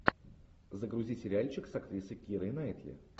загрузи сериальчик с актрисой кирой найтли